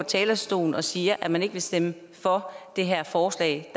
talerstolen og siger at man ikke vil stemme for det her forslag